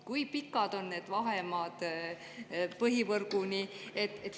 Kui pikad on need vahemaad põhivõrguni?